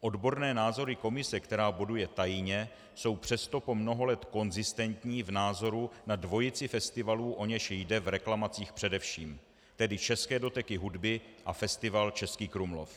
Odborné názory komise, která boduje tajně, jsou přesto po mnoho let konzistentní v názoru na dvojici festivalů, o něž jde v reklamacích především, tedy České doteky hudby a festival Český Krumlov.